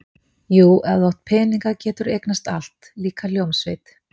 Jú, ef þú átt peninga, geturðu eignast allt, líka hljómsveit